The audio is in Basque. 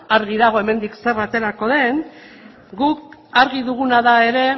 argi dago hemendik zer aterako den guk argi duguna da ere